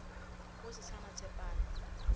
go se sa na tshepano